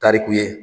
Tariku ye